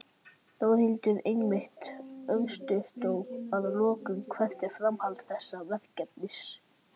Þórhildur: Einmitt, örstutt að lokum, hvert er framhald þessa verkefnis?